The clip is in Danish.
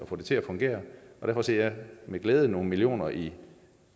få det til at fungere derfor ser jeg med glæde nogle millioner i